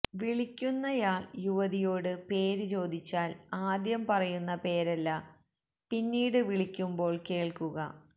വിളിക്കുന്നയാള് യുവതിയോട് പേര് ചോദിച്ചാല് ആദ്യം പറയുന്ന പേരല്ല പിന്നീട് വിളിക്കുമ്പോള് കേള്ക്കുക